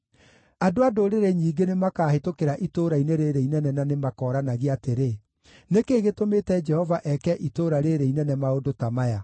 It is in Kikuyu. “Andũ a ndũrĩrĩ nyingĩ nĩmakahĩtũkĩra itũũra-inĩ rĩĩrĩ inene na nĩmakooranagia atĩrĩ, ‘Nĩ kĩĩ gĩtũmĩte Jehova eke itũũra rĩĩrĩ inene maũndũ ta maya?’